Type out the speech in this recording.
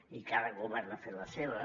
i cada govern ha fet la seva